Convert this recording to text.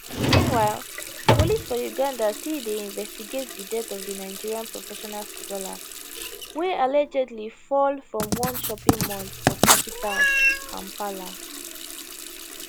meanwhile police for uganda still dey investigate di death of di nigerian professional footballer wey allegedly fall from one shopping mall for capital kampala